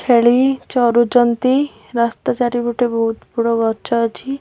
ଛେଳି ଚରୁଚନ୍ତି ରାସ୍ତା ଚାରିପଟେ ବୋହୁତ୍ ବଡ଼ ଗଛ ଅଛି।